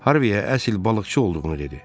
Harviyə əsl balıqçı olduğunu dedi.